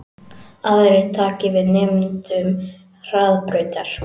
Aðrir taki við nemendum Hraðbrautar